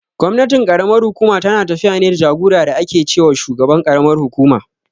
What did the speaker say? Gwamnatin ƙaramar hukuma tana tafiya ne da jagora da ake ce wa shugaban karamar kukuma.